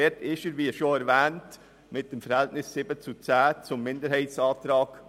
Dort wurde er, wie bereits erwähnt, mit dem Verhältnis von 7 zu 10 zum Minderheitsantrag.